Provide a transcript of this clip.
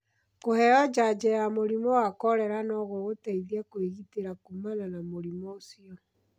Kũheo njajo ya mũrimũ wa korera no gũgũteithie kwĩgitĩra kuumana na mũrimũ ũcio.